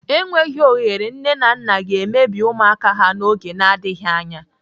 Enweghị ohere nne na nna ga-emebi ụmụaka ha n'oge n'adịghị anya.